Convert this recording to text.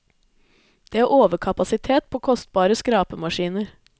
Det er overkapasitet på kostbare skrapemaskiner.